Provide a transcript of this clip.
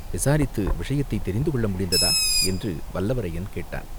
"விசாரித்து விஷயத்தைத் தெரிந்துகொள்ள முடிந்ததா?" என்று வல்லவரையன் கேட்டான்.